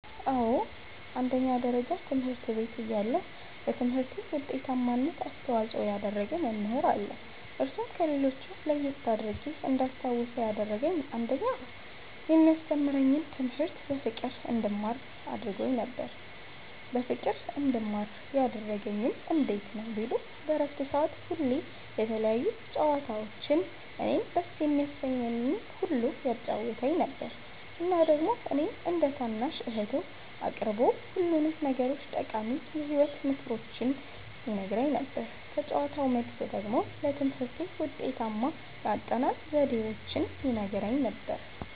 አዎ አንደኛ ደረጃ ትምህርት ቤት እያለሁ ለትምህርቴ ዉጤታማነት አስተዋፅኦ ያደረገ መምህር አለ እርሱም ከሌሎች ለየት አድርጌ እንዳስታዉሰዉ ያደረገኝ አንደኛ የሚያስተምረኝን ትምህርት በፍቅር እንድማር ነበረ ያደረገኝ በፍቅር እንድማር ያደረገኝም እንዴት ነዉ ቢሉ በረፍት ሰዓት ሁሌ የተለያዩ ጨዋታዎችን እኔን ደስ የሚያሰኘኝን ሁሉ ያጫዉተኝ ነበረ እና ደግሞ እኔን እንደ ታናሽ እህቱ አቅርቦ ሁሉንም ነገሮቹን ጠቃሚ የህይወት ተሞክሮዎቹን ይነግረኝ ነበረ ከጨዋታዉ መልስ ደግሞ ለትምህርቴ ውጤታማ የአጠናን ዘዴዎችን ይነግረኝም ነበረ።